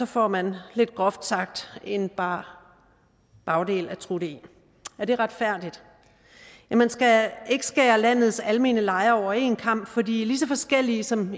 får man lidt groft sagt en bar bagdel at trutte i er det retfærdigt man skal ikke skære landets almene lejere over en kam fordi de er lige så forskellige som